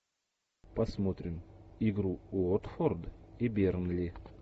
посмотрим игру уотфорд и бернли